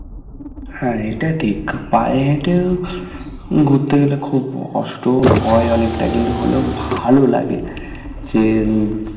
হ্যাঁ এটা ঠিক পায়ে হেঁটে ঘুরতে গেলে খুব কষ্টও হয় অনেকটা কিন্তু হলেও ভালো লাগে সেই হম